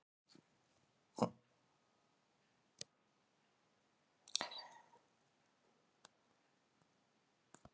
Heimir Már: Hversu mikilvægur er þessi friðarsúla, þetta listaverk?